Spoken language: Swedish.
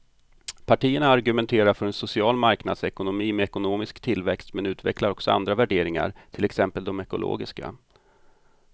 Partierna argumenterar för en social marknadsekonomi med ekonomisk tillväxt men utvecklar också andra värderingar, till exempel de ekologiska.